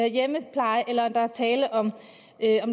hjemmepleje eller der er tale om